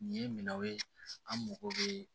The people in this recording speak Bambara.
Nin ye minanw ye an mago bɛ